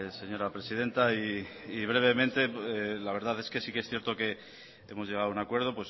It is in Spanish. señora presidenta y brevemente la verdad es que sí que es cierto que hemos llegado a un acuerdo